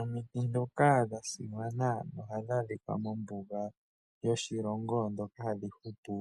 Omiti ndhoka dha simana ohadhi adhika mombuga yoshilongo ndhoka hadhi hupu